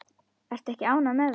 Ertu ekki ánægð með það?